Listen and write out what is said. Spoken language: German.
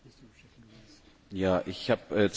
Ich habe zwei ganz konkrete Fragen.